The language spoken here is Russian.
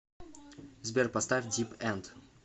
сбер поставь дип энд